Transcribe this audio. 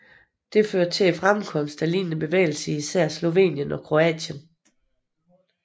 Dette førte til fremkomsten af lignende bevægelser i især Slovenien og Kroatien